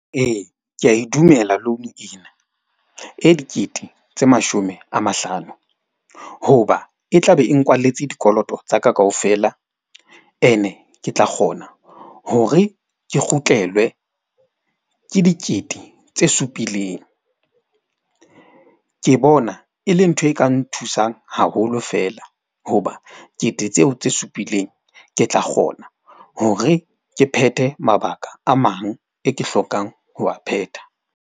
Ee, ke ya e dumela loan ena e dikete tse mashome a mahlano. Hoba e tlabe e nkwalletse dikoloto tsa ka kaofela. Ene ke tla kgona hore ke kgutlelwe ke dikete tse supileng. Ke bona e le ntho e ka nthusang haholo fela. Hoba kete tseo tse supileng. Ke tla kgona hore ke phethe mabaka a mang e ke hlokang ho a phetha.